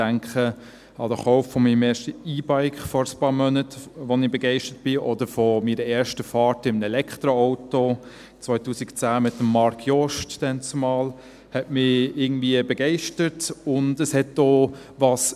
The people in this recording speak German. Ich denke an den Kauf meines ersten E-Bikes vor ein paar Monaten, von dem ich begeistert bin, oder meine erste Fahrt in einem Elektroauto hat mich irgendwie begeistert, 2010 mit Marc Jost damals.